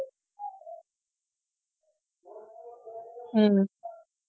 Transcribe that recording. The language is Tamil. ஹம்